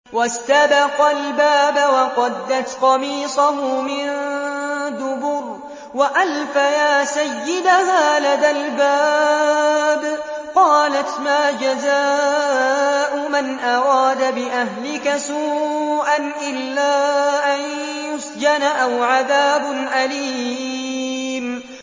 وَاسْتَبَقَا الْبَابَ وَقَدَّتْ قَمِيصَهُ مِن دُبُرٍ وَأَلْفَيَا سَيِّدَهَا لَدَى الْبَابِ ۚ قَالَتْ مَا جَزَاءُ مَنْ أَرَادَ بِأَهْلِكَ سُوءًا إِلَّا أَن يُسْجَنَ أَوْ عَذَابٌ أَلِيمٌ